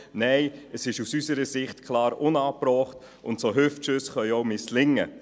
Nein, es ist aus unserer Sicht klar unangebracht, und solche Hüftschüsse können auch misslingen.